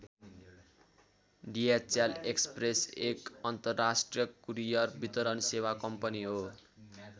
DHL Express एक अन्तराष्ट्रिय courier वितरण सेवा कम्पनी हो।